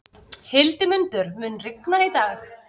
Hildimundur, mun rigna í dag?